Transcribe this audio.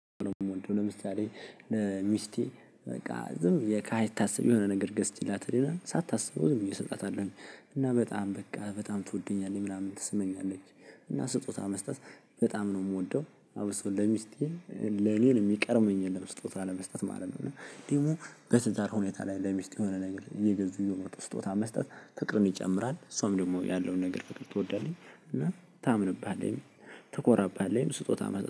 ለምሳሌ ለሚስቴ በቃ ዝም ሳይታስብ የሆነ ነገር ገዝቼላት ሳታስበው ዝምብዬ እሰጣታለውኝ እና በጣም በቃ በጣም ትወደኛለች ምናምን ትሰማኛለች እና ስጦታ መስጠት በጣም ነው የምወደው አብሶ ለሚስቴ ለኔን የሚቀድመኝ የለም። ስጦታ ለመስጠት ማለት ነው። እና ደግሞ በትዳር ሁኔታ ላይ ለሚስት የሆነ ነገር እየገዙ የሆነ ስጦታ መስጠት ፍቅርም ይጨምራል እሷም ደግሞ ያለውን ነገር ፍቅር ትወዳለች። እና ታምንብሃለህች ትኮራብሃለህች ስጦታ መስጠት